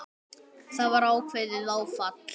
Það var ákveðið áfall.